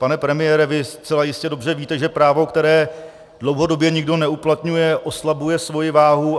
Pane premiére, vy zcela jistě dobře víte, že právo, které dlouhodobě nikdo neuplatňuje, oslabuje svoji váhu.